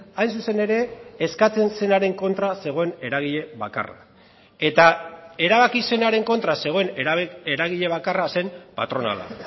hain zuzen ere eskatzen zenaren kontra zegoen eragile bakarra eta erabaki zenaren kontra zegoen eragile bakarra zen patronala